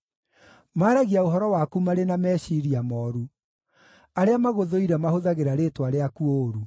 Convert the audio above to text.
Maaragia ũhoro waku marĩ na meciiria mooru; arĩa magũthũire mahũthagĩra rĩĩtwa rĩaku ũũru.